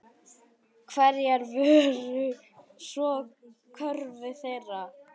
Hverjar voru svo kröfur þeirra?